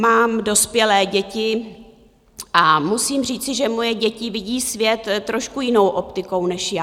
Mám dospělé děti a musím říci, že moje děti vidí svět trošku jinou optikou než já.